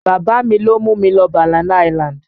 Bàbá mi ló mú mi lọ Banana island